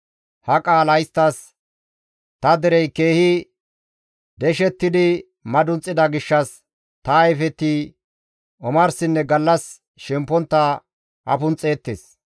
Ha qaala isttas, « ‹Ta derey keehi deshettidi madunxida gishshas, ta ayfeti omarsinne gallas shempontta afunxxeettes.